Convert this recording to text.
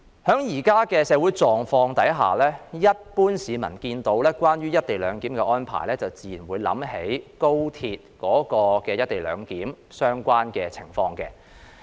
在現時的社會狀況下，一般市民一聽到"一地兩檢"安排，便自然會聯想起廣深港高速鐵路的"一地兩檢"安排。